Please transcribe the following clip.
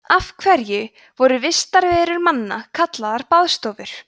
af hverju voru vistarverur manna kallaðar baðstofur